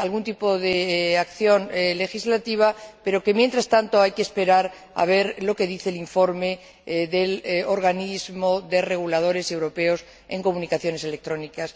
algún tipo de acción legislativa, pero que, mientras tanto, hay que esperar a ver lo que dice el informe del organismo de reguladores europeos en comunicaciones electrónicas.